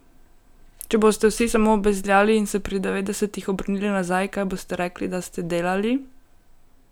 Če boste vsi samo bezljali in se pri devetdesetih obrnili nazaj, kaj boste rekli, da ste delali?